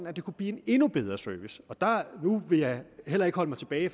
at det kunne blive en endnu bedre service nu vil jeg heller ikke holde mig tilbage